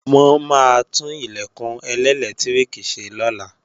Wọ́n maá tún Ilẹ̀kùn ẹlẹ́lẹtiriki ṣe lọ́la